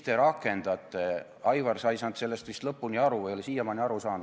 Aivar, sa ei saanud sellest vist lõpuni aru, ei ole siiamaani aru saanud.